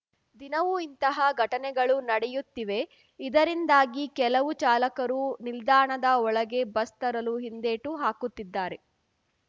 ದಿನವೂ ಇಂತಹ ಘಟನೆಗಳು ನಡೆಯುತ್ತಿವೆ ಇದರಿಂದಾಗಿ ಕೆಲವು ಚಾಲಕರು ನಿಲ್ದಾಣದ ಒಳಗೆ ಬಸ್‌ ತರಲು ಹಿಂದೇಟು ಹಾಕುತ್ತಿದ್ದಾರೆ